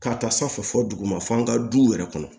Ka taa sanfɛ fɔ dugu ma fo an ka du yɛrɛ kɔnɔ